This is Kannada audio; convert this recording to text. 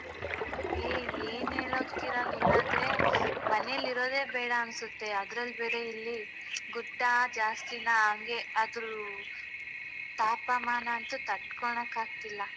ಏ ಏನ್ ಹೇಳೋದ್ ಕಿರಣ್ ಇಲ್ಲಾದ್ರೆ ಮನೇಲ್ ಇರೋದೇ ಬೇಡ ಅನ್ಸುತ್ತೆ ಅದ್ರಲ್ಲ್ ಬೇರೆ ಇಲ್ಲಿ ಗುಡ್ಡ ಜಾಸ್ತಿನೇ ಹಂಗೆ ಅದೂ ತಾಪಮಾನ ಅಂತೂ ತಡ್ಕೊಣಕಾಗ್ತಿಲ್ಲ.